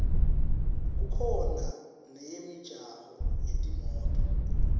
kukhona neyemijaho yetimoto